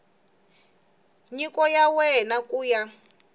nyiko ya wena ku ya